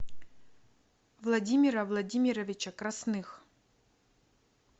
владимира владимировича красных